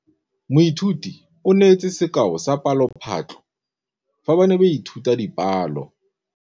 Moithuti o neetse sekaô sa palophatlo fa ba ne ba ithuta dipalo.